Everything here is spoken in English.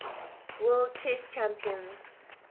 world chess champions